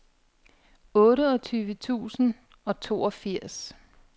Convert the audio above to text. otteogtyve tusind og toogfirs